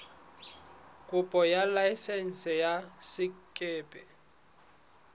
kopo ya laesense ya sekepe